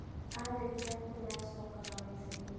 Arĩkia kũrĩa, acokaga wĩra-inĩ.